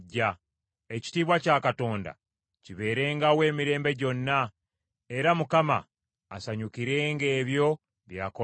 Ekitiibwa kya Katonda kibeerengawo emirembe gyonna; era Mukama asanyukirenga ebyo bye yakola.